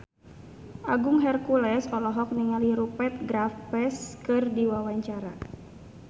Agung Hercules olohok ningali Rupert Graves keur diwawancara